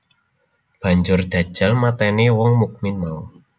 Banjur Dajjal matèni wong mukmin mau